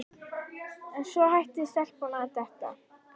En svo hætti stelpan að detta.